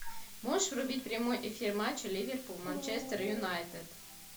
можешь врубить прямой эфир матча ливерпуль манчестер юнайтед